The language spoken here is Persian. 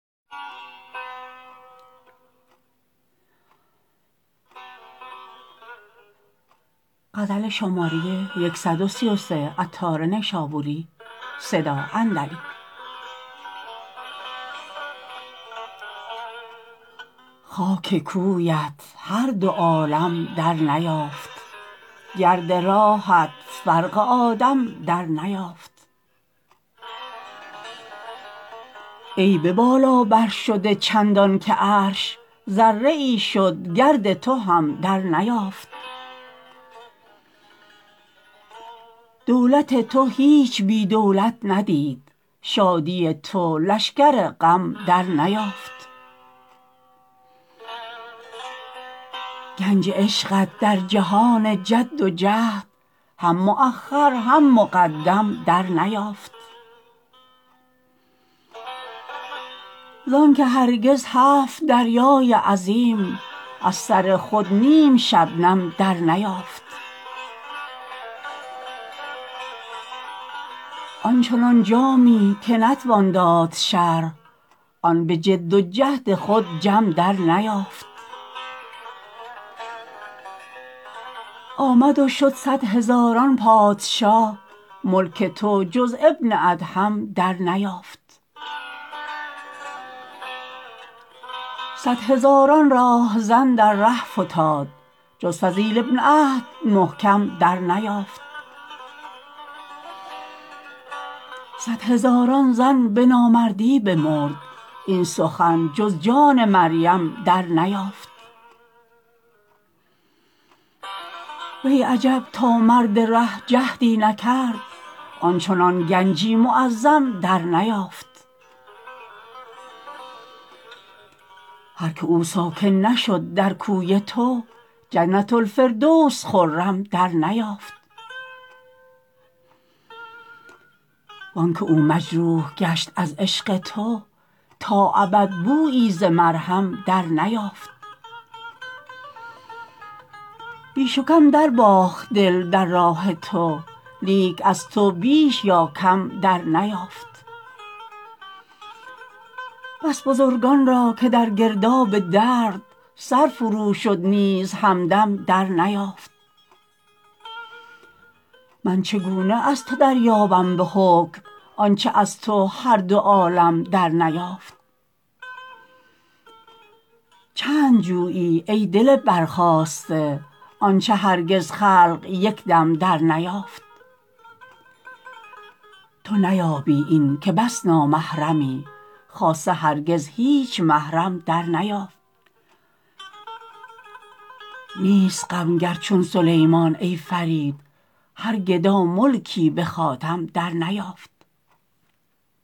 خاک کویت هر دو عالم در نیافت گرد راهت فرق آدم در نیافت ای به بالا برشده چندان که عرش ذره ای شد گرد تو هم در نیافت دولت تو هیچ بی دولت ندید شادی تو لشکر غم در نیافت گنج عشقت در جهان جد و جهد هم مؤخر هم مقدم در نیافت زانکه هرگز هفت دریای عظیم از سر خود نیم شبنم در نیافت آن چنان جامی که نتوان داد شرح آن به جد و جهد خود جم در نیافت آمد و شد صد هزاران پادشاه ملک تو جز ابن ادهم در نیافت صد هزاران راهزن در ره فتاد جز فضیل ابن عهد محکم در نیافت صد هزاران زن به نامردی بمرد این سخن جز جان مریم در نیافت وی عجب تا مرد ره جهدی نکرد آنچنان گنجی معظم در نیافت هر که او ساکن نشد در کوی تو جنه الفردوس خرم در نیافت وانکه او مجروح گشت از عشق تو تا ابد بویی ز مرهم در نیافت بیش و کم درباخت دل در راه تو لیک از تو بیش یا کم در نیافت بس بزرگان را که در گرداب درد سر فرو شد نیز همدم در نیافت من چگونه از تو دریابم به حکم آنچه از تو هر دو عالم در نیافت چند جویی ای دل برخاسته آنچه هرگز خلق یکدم در نیافت تو نیابی این که بس نامحرمی خاصه هرگز هیچ محرم در نیافت نیست غم گر چون سلیمان ای فرید هر گدا ملکی به خاتم در نیافت